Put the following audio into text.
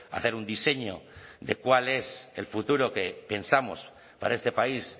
hacer un diseño de cuál es el futuro que pensamos para este país